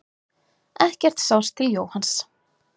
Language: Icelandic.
Ekkert sást til Jóhanns.